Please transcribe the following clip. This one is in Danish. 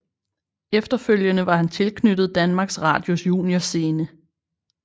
Efterfølgende var han tilknyttet Danmarks Radios juniorscene